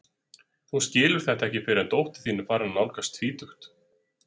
Þú skilur þetta ekki fyrr en dóttir þín er farin að nálgast tvítugt.